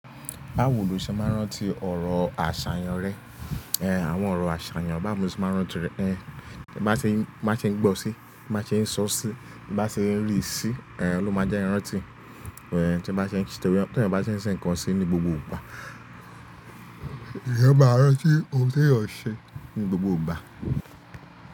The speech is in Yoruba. Báwo lo ṣe máa rántí ọ̀rọ̀ àṣàyàn rẹ? Àwọn ọ̀rọ̀ àṣàyàn bá mo ṣe máa rántí rẹ̀. Ẹ̀, bí bá ṣe ń, bá ṣe ń gbọ́ sí, bá ṣe ń sọ sí, bá ṣe ń rí sí, ẹ̀ ló máa jẹ́ n rántí. Ẹ̀, tí bá ṣe ń ṣe, tí ẹ́yan bá ṣe ń ṣe nǹkan sí ní gbogbo ìgbà, eyan maá a rántí ohun tí eyan ṣe ní gbogbo ìgbà.